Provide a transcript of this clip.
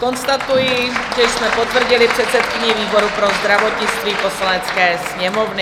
Konstatuji, že jsme potvrdili předsedkyni výboru pro zdravotnictví Poslanecké sněmovny.